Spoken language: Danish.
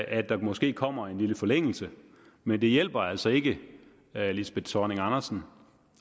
at der måske kommer en lille forlængelse men det hjælper altså ikke lisbeth zornig andersen